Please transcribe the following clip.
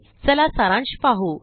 चला सारांश पाहू